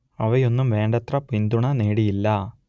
അവയൊന്നും വേണ്ടത്ര പിന്തുണ നേടിയില്ല